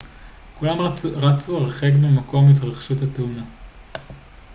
כולם רצו הרחק ממקום התרחשות התאונה